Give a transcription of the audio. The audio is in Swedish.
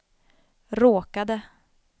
råkade